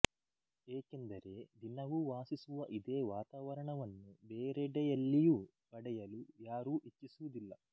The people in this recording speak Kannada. ಏಕೆಂದರೆ ದಿನವೂ ವಾಸಿಸುವ ಇದೇ ವಾತಾವರಣವನ್ನು ಬೇರೆಡೆಯಲ್ಲಿಯೂ ಪಡೆಯಲು ಯಾರೂ ಇಚ್ಛಿಸುವುದಿಲ್ಲ